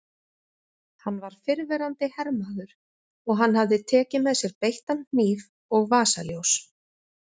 Hann var fyrrverandi hermaður og hann hafði tekið með sér beittan hníf og vasaljós.